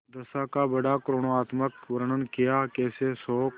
दशा का बड़ा करूणोत्पादक वर्णन कियाकैसे शोक